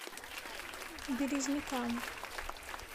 березникам